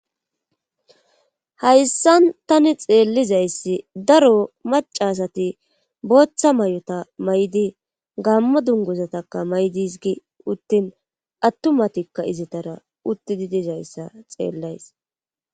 hayssan tani xeellizayssi daro macasati booththa may7ota may7idi gammo dunguzatakka may7dis gi uttin attumatikka izitara uttidi dizayssa xeellays